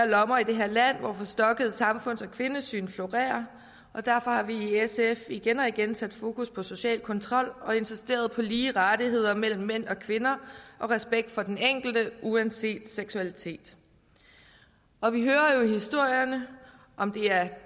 lommer i det her land hvor forstokkede samfunds og kvindesyn florerer og derfor har vi i sf igen og igen sat fokus på social kontrol og insisteret på lige rettigheder mellem mænd og kvinder og respekt for den enkelte uanset seksualitet og vi hører jo historierne om det er